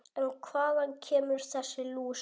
En hvaðan kemur þessi lús?